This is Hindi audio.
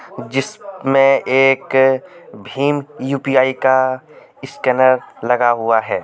जिसमे एक भीम यु_पी_आई का स्कैनर लगा हुआ है.